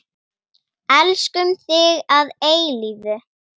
Elskum þig að eilífu.